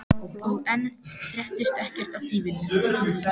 Og enn fréttist ekkert af þýfinu.